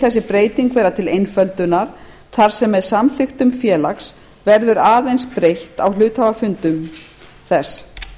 þessi breyting vera til einföldunar þar sem samþykktum félags verður aðeins breytt á hluthafafundum þess